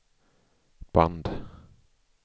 band